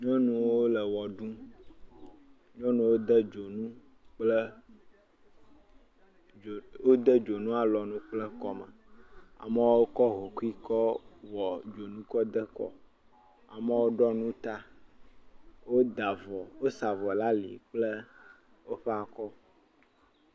Nyɔnuwo le wɔ ɖum, nyɔnuwo de dzonu kple dzo.., wode dzo alɔnu kple kɔme amewo kɔ hokui kɔ wɔ dzonukɔ de kɔ amewo ɖɔ nu ta, woda avɔ.., wosa avɔ ɖe ali kplewoƒe akɔ.